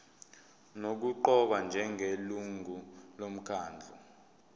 nokuqokwa njengelungu lomkhandlu